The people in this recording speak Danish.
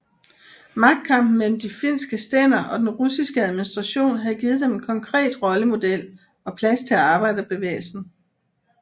Magtkampen mellem de finske stænder og den russiske administration havde givet dem en konkret rollemodel og plads til arbejderbevægelsen